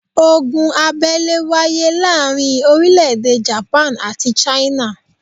Ogun abẹ́lé wáyé láàrin orílẹ̀ èdè Japan àti China